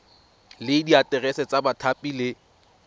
le diaterese tsa bathapi le